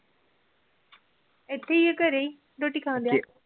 ਇਥੇ ਘਰੇ ਰੋਟੀ ਖਾਣ ਡਿਆ